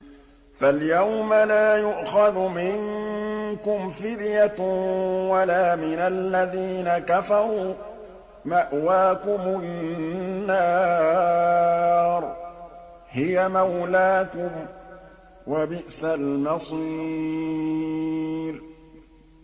فَالْيَوْمَ لَا يُؤْخَذُ مِنكُمْ فِدْيَةٌ وَلَا مِنَ الَّذِينَ كَفَرُوا ۚ مَأْوَاكُمُ النَّارُ ۖ هِيَ مَوْلَاكُمْ ۖ وَبِئْسَ الْمَصِيرُ